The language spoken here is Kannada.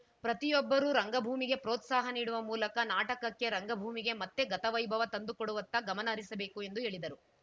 ಪ್ರತಿಯೊಬ್ಬರೂ ರಂಗಭೂಮಿಗೆ ಪ್ರೋತ್ಸಾಹ ನೀಡುವ ಮೂಲಕ ನಾಟಕಕ್ಕೆ ರಂಗಭೂಮಿಗೆ ಮತ್ತೆ ಗತವೈಭವ ತಂದು ಕೊಡುವತ್ತ ಗಮನ ಹರಿಸಬೇಕು ಎಂದು ಹೇಳಿದರು